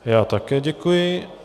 Já také děkuji.